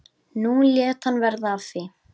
Nú lét hann verða af því.